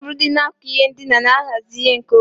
Tebụl dị n'akụkụ ihe ndina na-ahazi ihe nkeonwe.